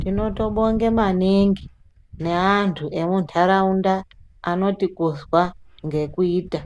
Tinotobonge maningi neantu emundaraunda anoti kuzwa ngekuita,